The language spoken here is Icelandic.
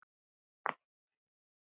Hörður Þormar.